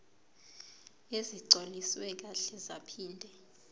ezigcwaliswe kahle zaphinde